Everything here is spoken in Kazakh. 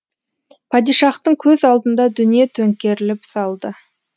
падишахтың көз алдында дүние төңкеріліп салды